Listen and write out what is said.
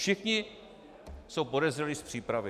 Všichni jsou podezřelí z přípravy.